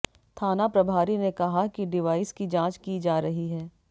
थाना प्रभारी ने कहा कि डिवाइस की जांच की जा रही है